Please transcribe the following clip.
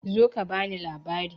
Zo ka bani labari!